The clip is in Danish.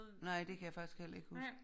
Nej det kan jeg faktisk heller ikke huske